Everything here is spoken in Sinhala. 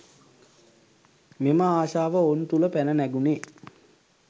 මෙම ආශාව ඔවුන් තුළ පැන නැගුණේ